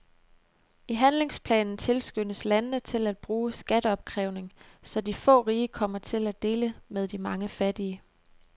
I handlingsplanen tilskyndes landene til at bruge skatteopkrævning, så de få rige kommer til at dele med de mange fattige.